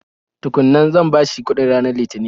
Tukun nan, zan bashi kuɗin ranar lithinin.